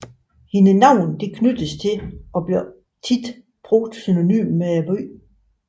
Hendes navn knyttedes til og blev ofte brugt synonymt med byen